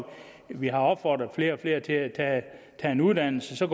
vi har opfordret flere og flere til at tage en uddannelse så